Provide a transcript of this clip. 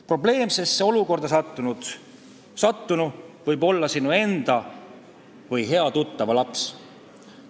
Probleemsesse olukorda sattunu võib olla sinu enda või hea tuttava laps.